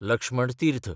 Laxman Tirth